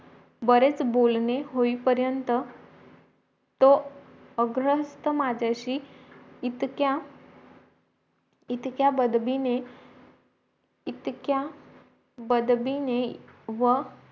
बरेच बोलणी होई पर्यंत तो आग्रहस्त माझाशी इतक्या इतक्या बदबीने इतक्या बदबीने व